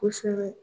Kosɛbɛ